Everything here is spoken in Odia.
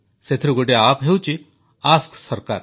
ସେଥିରୁ ଗୋଟିଏ ଆପ୍ ହେଉଛି ଆସ୍କ ସରକାର